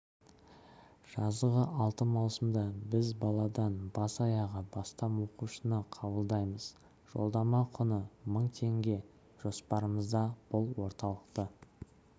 жазғы алты маусымда біз баладан бас-аяғы астам оқушыны қабылдаймыз жолдама құны мың теңге жоспарымызда бұл орталықты